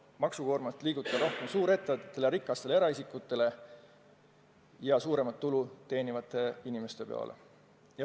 Maksukoorem tuleks liigutada rohkem suureettevõtete, rikaste eraisikute ja üldse suuremat tulu teenivate inimeste õlgadele.